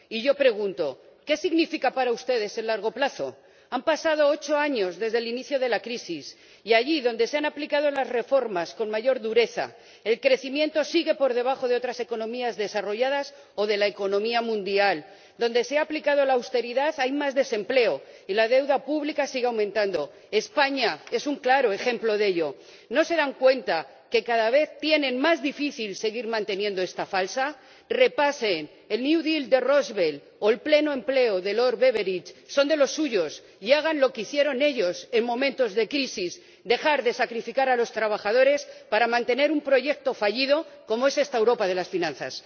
Y yo pregunto ¿qué significa para ustedes el largo plazo? Han pasado ocho años desde el inicio de la crisis y, allí donde se han aplicado las reformas con mayor dureza, el crecimiento sigue por debajo de otras economías desarrolladas o de la economía mundial donde se ha aplicado la austeridad hay más desempleo y la deuda pública sigue aumentando. España es un claro ejemplo de ello. ¿No se dan cuenta de que cada vez tienen más difícil seguir manteniendo esta farsa? Repasen el New Deal de Roosevelt o el pleno empleo de Lord Beveridge ―son de los suyos― y hagan lo que hicieron ellos en momentos de crisis dejar de sacrificar a los trabajadores para mantener un proyecto fallido como es esta Europa de las finanzas.